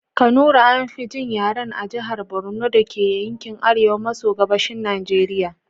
Kanuri: An fi jin yaren a jihar Borno da ke yankin arewa maso gabashin Najeriya.